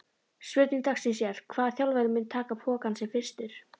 Spurning dagsins er: Hvaða þjálfari mun taka pokann sinn fyrstur?